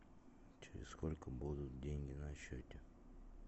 через сколько будут деньги на счете